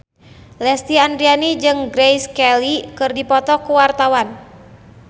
Lesti Andryani jeung Grace Kelly keur dipoto ku wartawan